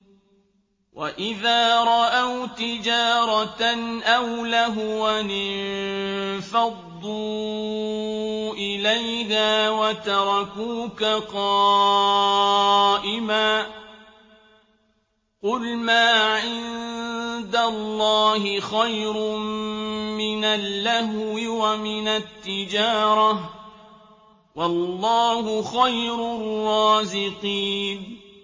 وَإِذَا رَأَوْا تِجَارَةً أَوْ لَهْوًا انفَضُّوا إِلَيْهَا وَتَرَكُوكَ قَائِمًا ۚ قُلْ مَا عِندَ اللَّهِ خَيْرٌ مِّنَ اللَّهْوِ وَمِنَ التِّجَارَةِ ۚ وَاللَّهُ خَيْرُ الرَّازِقِينَ